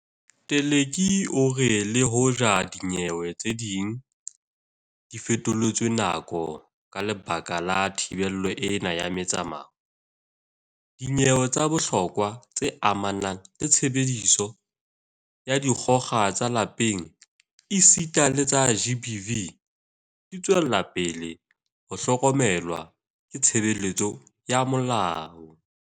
Teleki o re le hoja dinyewe tse ding di fetoletswe nako ka lebaka la thibelo ena ya metsamao, dinyewe tsa bohlokwa tse amanang le tshebediso ya dikgoka ka lapeng esita le tsa GBV di tswela pele ho hlokomelwa ke tshebeletso ya molao.